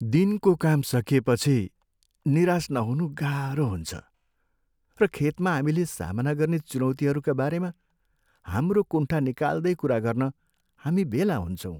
दिनको काम सकिएपछि निराश नहुनु गाह्रो हुन्छ, र खेतमा हामीले सामना गर्ने चुनौतिहरूका बारेमा हाम्रो कुण्ठा निकाल्दै कुरा गर्न हामी भेला हुन्छौँ।